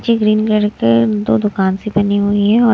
ये green colour का दो दुकान सी बनी हुई हैं औ--